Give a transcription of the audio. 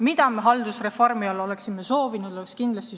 Mida me haldusreformi puhul aga tegelikult soovisime?